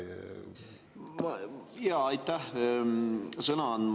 Jaa, aitäh sõna andmast!